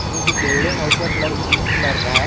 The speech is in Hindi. ये जो बिल्डिंग है उसका कलर क्रीम कलर का है।